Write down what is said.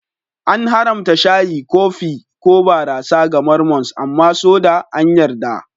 An haramta shayi, kofi, ko barasa ga Mormons amma soda an yarda.